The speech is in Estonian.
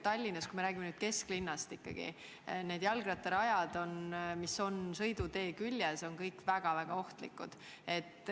Tallinnas, kui me räägime kesklinnast, on need jalgrattarajad, mis on sõidutee küljes, kõik väga-väga ohtlikud.